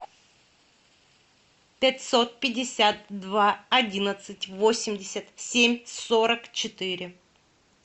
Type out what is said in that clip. пятьсот пятьдесят два одиннадцать восемьдесят семь сорок четыре